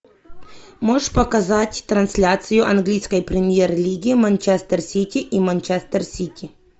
можешь показать трансляцию английской премьер лиги манчестер сити и манчестер сити